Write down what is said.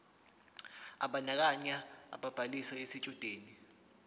ebandakanya ubhaliso yesitshudeni